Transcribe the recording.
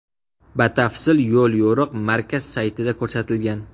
Batafsil yo‘l-yo‘riq markaz saytida ko‘rsatilgan .